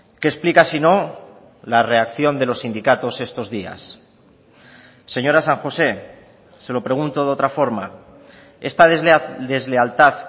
qué explica si no la reacción de los sindicatos estos días señora san josé se lo pregunto de otra forma esta deslealtad